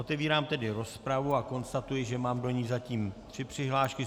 Otevírám tedy rozpravu a konstatuji, že mám do ní zatím tři přihlášky.